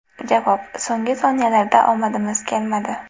Javob: So‘nggi soniyalarda omadimiz kelmadi.